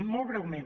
molt breument